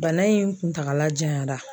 Bana in kuntagala janyanra.